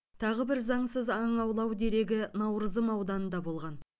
тағы бір заңсыз аң аулау дерегі наурызым ауданында болған